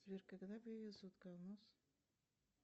сбер когда появился утконос